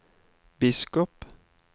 biskop